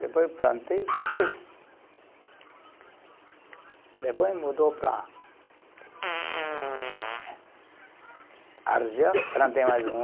Depois eu plantei, depois. Depois mudou para ehh, plantei mais um